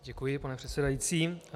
Děkuji, pane předsedající.